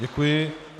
Děkuji.